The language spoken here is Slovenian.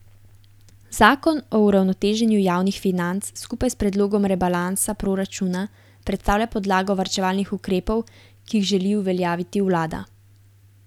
Zakon o uravnoteženju javnih financ skupaj s predlogom rebalansa proračuna predstavlja podlago varčevalnih ukrepov, ki jih želi uveljaviti vlada.